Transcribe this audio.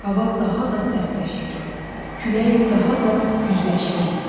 Hava daha da sərtləşir, külək daha da gücləşirdi.